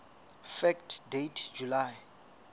fact date july